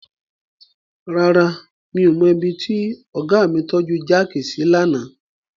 Rárá, mi ò mọ ibi tí ọ̀gá mi tọ́ju jáàkì sí lánàá.